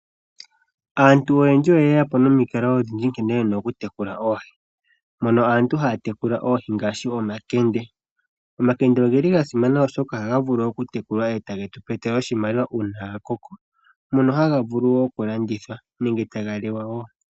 Aantu oyendji oye yqpo nomikalo odhindji nkene yena okutekula oohi, mono aantu haya tekula ooi ngaashi omakende. Omakende ohasimana oshoka ohaga vulu okutekulwa eta getu etele oshimaliwa uuna gakoko mono haga vulu okulandithwa nenge taga liwa wo.